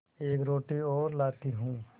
एक रोटी और लाती हूँ